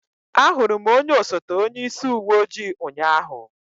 Ahụrụ m onye osote onyeisi uwe ojii ụnyaahụ.